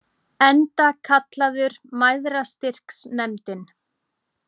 Enda kallaður Mæðrastyrksnefndin.